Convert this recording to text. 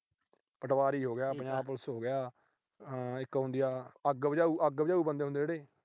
ਪਟਵਾਰੀ ਹੋ ਗਿਆ। ਪੰਜਾਬ ਪੁਲਿਸ ਹੋ ਗਿਆ। ਆਹ ਇੱਕ ਹੁੰਦੀ ਆ ਅੱਗ ਬੁਝਾਉ ਅਹ ਅੱਗ ਬੁਝਾਉ ਬੰਦੇ ਹੁੰਦੇ ਆ ਜਿਹੜੇ।